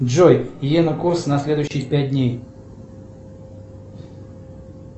джой йены курс на следующий пять дней